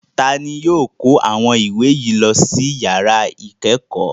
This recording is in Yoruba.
Ta ni yóò kó àwọn ìwé yìí lọ sí ìyàrá ìkẹ́kọ̀ọ́?